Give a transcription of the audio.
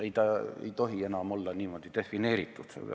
Ei, ta ei tohi enam olla niimoodi defineeritud.